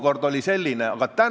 Kuid kahju küll, mu süda pole vaba.